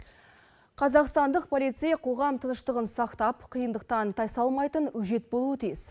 қазақстандық полицей қоғам тыныштығын сақтап қиындықтан тай салмайтын өжет болуы тиіс